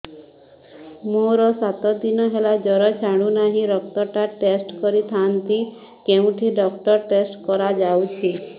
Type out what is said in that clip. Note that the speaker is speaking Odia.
ମୋରୋ ସାତ ଦିନ ହେଲା ଜ୍ଵର ଛାଡୁନାହିଁ ରକ୍ତ ଟା ଟେଷ୍ଟ କରିଥାନ୍ତି କେଉଁଠି ରକ୍ତ ଟେଷ୍ଟ କରା ଯାଉଛି